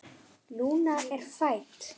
Lúna er fædd.